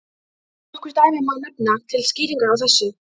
Nokkur dæmi má nefna til skýringar á þessu.